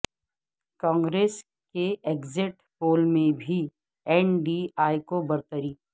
کانگریس کے exit poll میں بھی این ڈی اے کو برتری